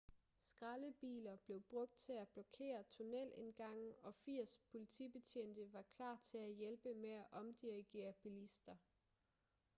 skraldebiler blev brugt til at blokere tunnelindgange og 80 politibetjente var klar til at hjælpe med at omdirigere bilister